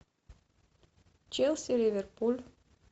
челси ливерпуль